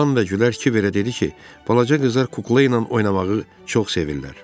Lan və Gülər Kiverə dedi ki, balaca qızlar kuklayla oynamağı çox sevirlər.